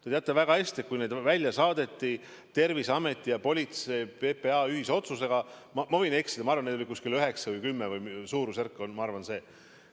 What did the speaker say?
Te teate väga hästi, et Terviseameti ja PPA ühise otsusega saadeti välja, ma võin eksida, aga ma arvan, et neid oli 9 või 10, suurusjärk oli see.